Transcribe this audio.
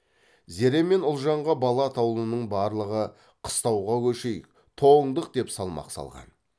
зере мен ұлжанға бала атаулының барлығы қыстауға көшейік тоңдық деп салмақ салған